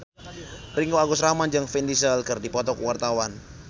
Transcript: Ringgo Agus Rahman jeung Vin Diesel keur dipoto ku wartawan